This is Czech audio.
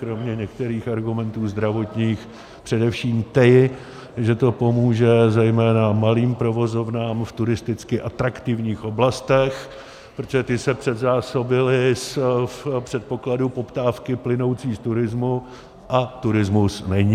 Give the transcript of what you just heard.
Kromě některých argumentů zdravotních především ty, že to pomůže zejména malým provozovnám v turisticky atraktivních oblastech, protože ty se předzásobily za předpokladu poptávky plynoucí z turismu, a turismus není.